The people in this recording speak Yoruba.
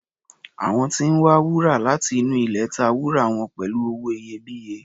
Àwọn tí ń wa wúrà láti inú ilẹ̀ ta wúrà wọn pẹ̀lú owó iyebíye.